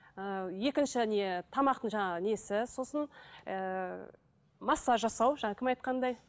ы екінші не тамақтың жаңағы несі сосын ыыы массаж жасау жаңағы кім айтқандай